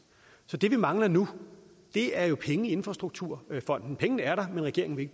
så det vi mangler nu er jo penge i infrastrukturfonden pengene er der men regeringen vil